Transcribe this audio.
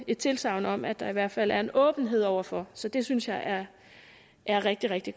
et tilsagn om at der i hvert fald er en åbenhed over for så det synes jeg er er rigtig rigtig